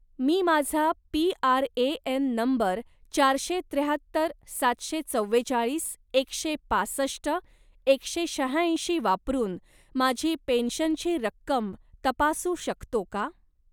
मी माझा PRAN. Number चारशे त्र्याहत्तर सातशे चव्वेचाळीस एकशे पासष्ट एकशे शहाऐंशी वापरून माझी पेन्शनची रक्कम तपासू शकतो का?